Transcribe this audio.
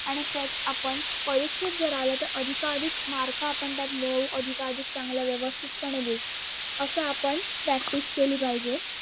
आणि तेच आपण परीक्षेत जर आल तर अधिकाअधिक mark आपण त्यात मिळवू अधिकाअधिक चांगले व्यवस्थितपणे लिहू अस आपण practice केली पाहिजे.